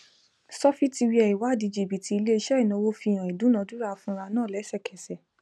sọfitiwia ìwádìí jìbítì iléiṣẹ ináwó fi hàn ìdúnàdúrà ìfura náà lẹsẹkẹsẹ